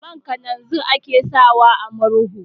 Man kalanzir ake sawa a murhu.